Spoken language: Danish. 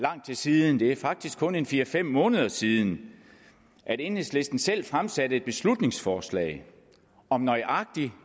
lang tid siden det er faktisk kun en fire fem måneder siden at enhedslisten selv fremsatte et beslutningsforslag om nøjagtig